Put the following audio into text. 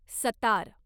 sitar